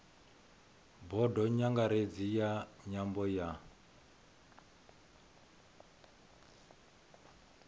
bodo nyangaredzi ya nyambo ya